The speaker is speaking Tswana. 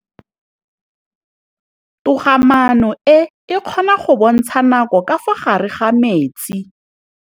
Toga-maanô e, e kgona go bontsha nakô ka fa gare ga metsi.